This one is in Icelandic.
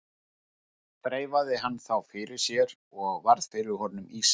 Þreifaði hann þá fyrir sér og varð fyrir honum ýsa.